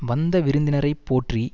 வந்த விருந்தினரை போற்றி